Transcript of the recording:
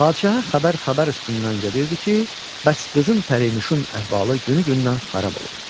Padşaha xəbər xəbər üstündən gedirdi ki, bəs qızım pərinüşün əhvalı günü-gündən xarab olur.